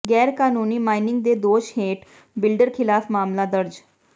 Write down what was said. ਗੈਰਕਾਨੂੰਨੀ mining ਦੇ ਦੋਸ਼ ਹੇਠ ਬਿਲਡਰ ਿਖ਼ਲਾਫ਼ ਮਾਮਲਾ ਦਰਜ